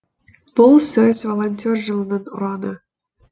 бұл сөз волонтер жылының ұраны